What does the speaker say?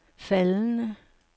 faldende